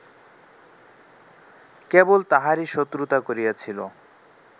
কেবল তাঁহারই শত্রুতা করিয়াছিল